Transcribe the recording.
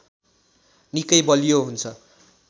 निकै बलियो हुन्छ